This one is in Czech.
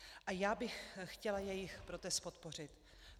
A já bych chtěla jejich protest podpořit.